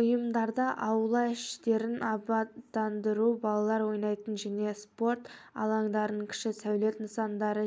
ұйымдарды аула іштерін абаттандыру балалар онайтын және спорт алаңдарын кіші сәулет нысандары